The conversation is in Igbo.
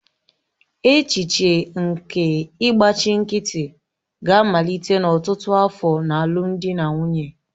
Echiche nke ịgbachi nkịtị ga-amalite n'ọtụtụ afọ na alụmdi na nwunye.